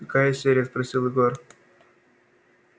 какая серия спросил егор